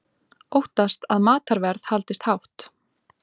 Óttast að matarverð haldist hátt